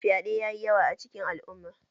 Fyaɗe yayi yawa a cikin al'umma